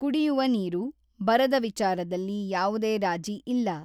ಕುಡಿಯುವ ನೀರು, ಬರದ ವಿಚಾರದಲ್ಲಿ ಯಾವುದೇ ರಾಜಿ ಇಲ್ಲ.